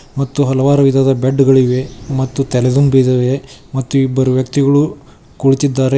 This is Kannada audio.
ಮತ್ತು ಹಲವಾರು ವಿಧದ ಬೆಡ್ ಗಳಿವೆ ಮತ್ತು ತಲೆದಿಂಬ್ ಇದವೆಮತ್ತು ಇಬ್ಬರು ವ್ಯಕ್ತಿಗಳು ಕುಳಿತಿದ್ದಾರೆ.